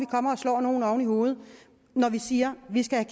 kommer og slår nogle oven i hovedet når vi siger at vi skal